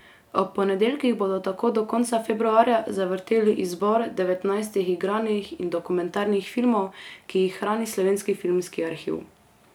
Ob ponedeljkih bodo tako do konca februarja zavrteli izbor devetnajstih igranih in dokumentarnih filmov, ki jih hrani Slovenski filmski arhiv.